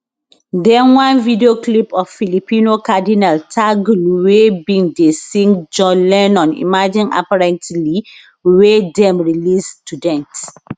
den one video clip of filipino cardinal tagle wey bin dey sing john lennon imagine apparently wey dem release to dent